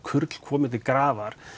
kurl komin til grafar